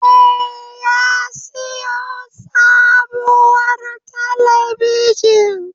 Eh, ya siyo sabuwar talabijin